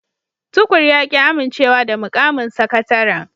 Tukur ya ki amincewa da mukamin sakataren